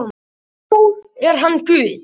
Já, er hann Guð?